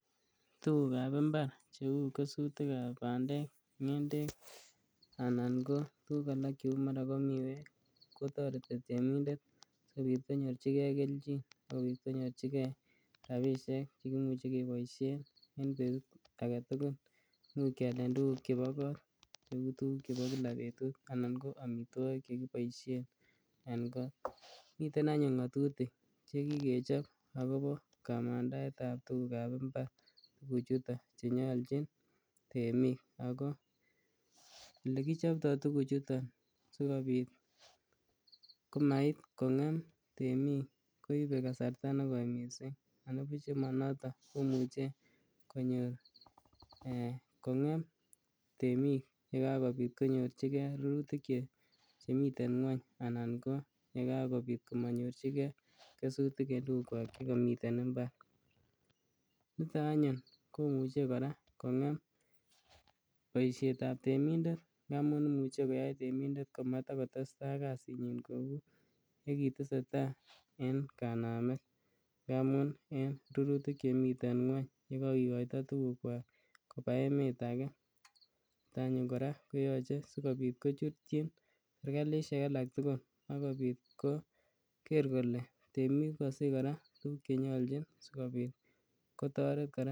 Tugukab imbar cheu kesutikab bandek, ngendet anan ko tuguk alak ko mara kou miweek kotoreti temindet sikobit konyorchigee kelchin, sikobit konyorchigee rabisiek chekimuche keboisien en betut agetugul, cheu kialen tuguk chebo goo, cheu tuguk chebo kila betut anan ko omitwogik chekiboisien en goo, miten anyun ngatutik chekikechob akobo kamandaet ab tugukab mbar, tuguchuton chenyolchin temik, ako lekichobto tuguchuto sikobit komait kong'em temik koibe kasarta negoi missing, anibuch nemonoto komuche kong'em temik yekakobit konyorchigen rurutik chemiten ngweny anan ko yekakobit komonyorchige kesutik en tugukwak chekomiten mbar, niton anyun komuche kora kong'em boisiet ab temindet ndamun imuche koyai temindet komatogotesta ak kasinyin kou yekitesetai en kanamet ngamun en rurutik chemiten ngweny yekogigoito tugukwak koba emet age, kit anyun kora sikobit kochutchin serkalisiek alaktugul akobit koger kole temik kokosich kora tuguk chenyolchin sikobit kotoret kora.